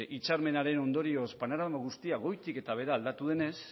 hitzarmenaren ondorioz panorama guztia goitik eta behera aldatu denez